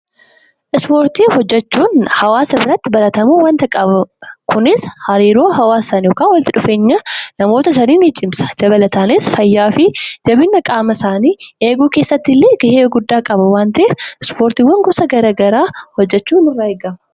Ispoortii hojjechuun hawaasa biratti wanta baratamuu qabudha. Kunis hawaasa yookiin namoota walitti dhufeenya isaanii ni cimsa. Dabalataanis akkasumas jabeenya qaama isaaniif gahee guddaa qaba waan ta'eef ispoortii hojjechuun nurraa eegama.